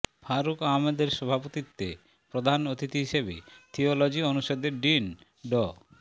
ফারুক আহমদের সভাপতিত্বে প্রধান অতিথি হিসেবে থিওলজি অনুষদের ডিন ড